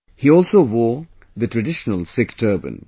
He also wore the traditional Sikh turban